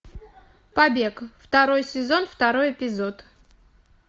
побег второй сезон второй эпизод